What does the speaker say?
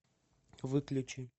выключи